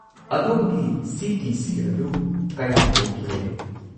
ꯑꯗꯣꯝꯒꯤ ꯁꯤ.ꯇꯤ.ꯁꯤ. ꯑꯗꯨ ꯀꯌꯥꯝ ꯑꯣꯏꯈꯤꯕꯒꯦ?